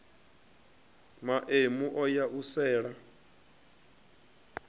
maemu o ya u sela